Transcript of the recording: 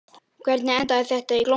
Hvernig endaði þetta í glompu?